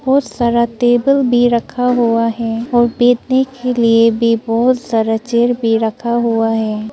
बहुत सारा टेबल भी रखा हुआ है और बैठने के लिए भी बहुत सारा चेयर भी रखा हुआ है।